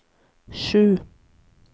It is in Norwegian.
sju